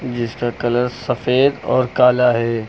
जिसका कलर सफेद और काला है।